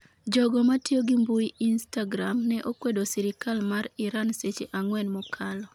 Jogo matiyo gi mbui instagram ne okwedo sirikal mar Iran seche ang'wen mokalo